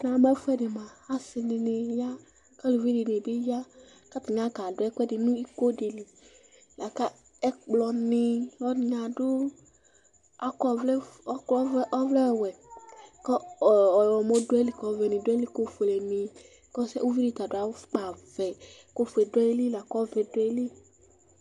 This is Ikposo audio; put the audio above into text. Namu ɛfʋɛdɩ mʋa asɩ dɩnɩ ya, kʋ aluvi dɩnɩ bɩ ya, kʋ atani aɣa ka du ɛkʋɛdɩ nʋ ikodi li Ɛkplɔ nɩma, laku ɔlɔdɩnɩ akɔ ɔvlɛwɛ kʋ ɔɣlɔmɔ dʋayili, kʋ ɔvɛ dʋayili kʋ ofuelenɩ Kʋ uvidi ta adu afʋkpavɛ kʋ ofue duayili lakʋ ɔwɛ duayili